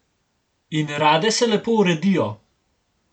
In rade se lepo uredijo.